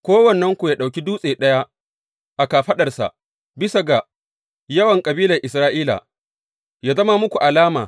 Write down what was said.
Kowannenku yă ɗauki dutse ɗaya a kafaɗarsa, bisa ga yawan kabilan Isra’ila, yă zama muku alama.